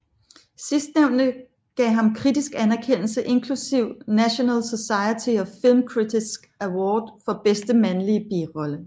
Sidstnævnte gav ham kritisk anerkendelse inklusiv National Society of Film Critics Award for bedste mandlige birolle